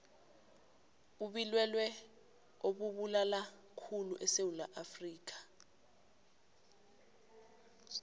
ubilwelwe obubulalakhulu esewula afrikha